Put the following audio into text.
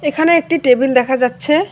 এখানে একটি টেবিল দেখা যাচ্ছে।